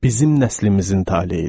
Bizim nəslimizin taleyidir.